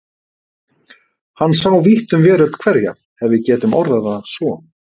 Hann sá vítt um veröld hverja ef við getum orðað það svo.